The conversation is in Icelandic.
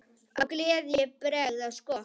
Af gleði ég bregð á skokk.